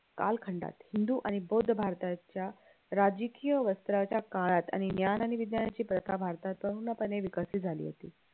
कालखंडात हिंदू आणि बौद्ध भारताच्या राजकीय वस्त्राच्या काळात आणि ज्ञान आणि विज्ञानाची प्रथा भारतात पणे विकसित झाली होती